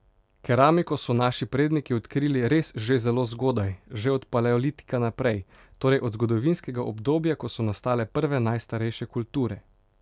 Keramiko so naši predniki odkrili res že zelo zgodaj, že od paleolitika naprej, torej od zgodovinskega obdobja, ko so nastale prve najstarejše kulture.